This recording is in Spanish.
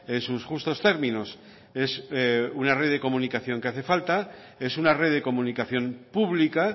en sus justos términos es una red de comunicación que hace falta es una red de comunicación pública